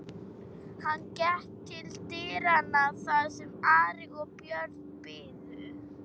Hann gekk til dyranna þar sem Ari og Björn biðu.